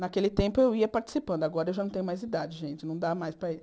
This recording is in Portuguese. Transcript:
Naquele tempo eu ia participando, agora eu já não tenho mais idade, gente, não dá mais para ir.